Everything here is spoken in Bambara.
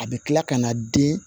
A bɛ tila ka na den